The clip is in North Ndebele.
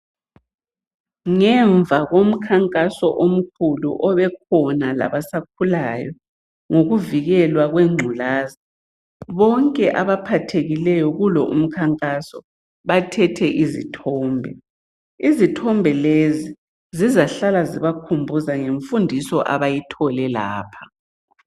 Ngemuva komkhankaso omkhulu obekhona labasakhulayo ngokuvikelwa kwengculazi bonke abaphathekileyo kulo umkhankaso bathethe izithombe. Izithombe lezi zizahlala zibakhumbuza ngemfundiso abayithole lapha.